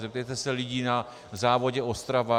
Zeptejte se lidí na závodě Ostrava.